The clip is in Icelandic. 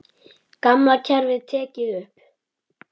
Gamla kerfið tekið upp?